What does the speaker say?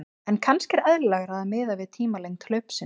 En kannski er eðlilegra að miða við tímalengd hlaupsins.